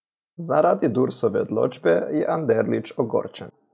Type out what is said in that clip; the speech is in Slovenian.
Zaradi Dursove odločbe je Anderlič ogorčen.